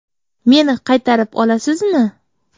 Meni qaytarib olasizmi?